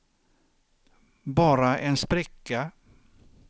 bara en spricka